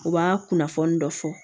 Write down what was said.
U b'a kunnafoni dɔ fɔ